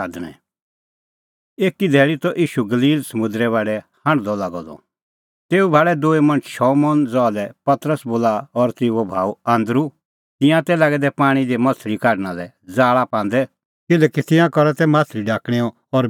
एकी धैल़ी त ईशू गलील समुंदरे बाढै हांढदअ लागअ द तेऊ भाल़ै दूई मणछ शमौन ज़हा लै पतरस बोला और तेऊओ भाऊ आन्दरू तिंयां तै लागै दै पाणीं दी माह्छ़ली ढाकणा लै ज़ाल़ा पांदै किल्हैकि तिंयां करा तै माह्छ़ली ढाकणैं और बेच़णेंओ काम